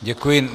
Děkuji.